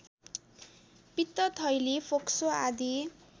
पित्तथैली फोक्सो आदि